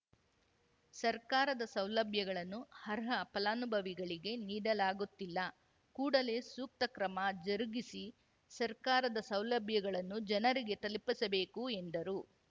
ಸರ್ಕಾರದ ಸೌಲಭ್ಯಗಳನ್ನು ಆರ್ಹ ಫಲಾನುಭವಿಗಳಿಗೆ ನೀಡಲಾಗುತ್ತಿಲ್ಲ ಕೂಡಲೇ ಸೂಕ್ತ ಕ್ರಮ ಜರುಗಿಸಿ ಸರ್ಕಾರದ ಸೌಲಭ್ಯಗಳನ್ನು ಜನರಿಗೆ ತಲುಪಿಸಬೇಕು ಎಂದರು